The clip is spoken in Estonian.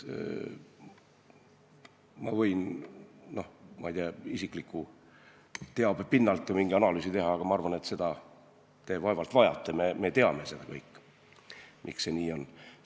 Ma võin ju isikliku teabe pinnalt mingi analüüsi teha, aga seda te vaevalt vajate, me teame kõik, miks see nii on.